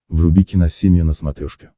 вруби киносемья на смотрешке